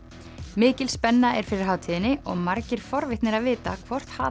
mikil spenna er fyrir hátíðinni og margir forvitnir að vita hvort